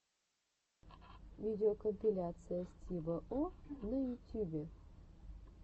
видеокомпиляция стива о на ютюбе